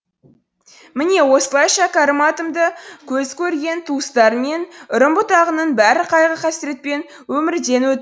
міне осылай шәкерім атамды көзі көрген туыстары мен үрім бұтағының бәрі қайғы қасіретпен өмірден өт